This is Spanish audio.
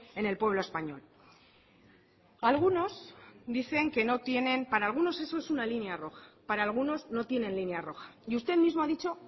en el pueblo español algunos dicen que no tienen para algunos eso es una línea roja para algunos no tienen línea roja y usted mismo ha dicho